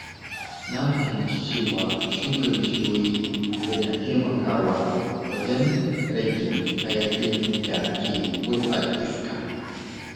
Na fahimci cewa shuka bishiyoyi yana taimakawa wajen rage hayaƙin da ke gurɓata iska.